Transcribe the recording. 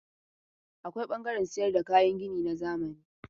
Akwai ɓangaren sayar da kayan gini na zamani.